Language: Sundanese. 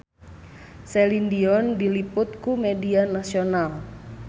Celine Dion diliput ku media nasional